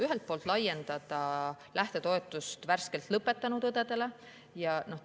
Ühelt poolt laiendada lähtetoetuse värskelt lõpetanud õdedele.